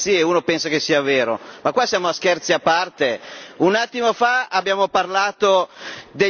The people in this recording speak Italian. Ma qui siamo a Scherzi a parte? Un attimo fa abbiamo parlato degli immigrati della Birmania.